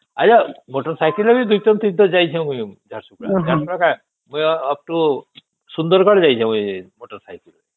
ଆଉ ସେ ସାଇକେଲ ରେ ମୁ ୨ ଥର ୩ ଥର ଯାଇଛି ମୁ ଝାରସୁଗୁଡା ଝାରସୁଗୁଡା କାଇଁ ଅପ ଟୁ ସୁନ୍ଦରଗଡ଼ ଯାଇଛି ମୁଇ ମୋଟର ସାଇକେଲ ରେ